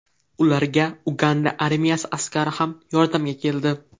Ularga Uganda armiyasi askari ham yordamga keldi.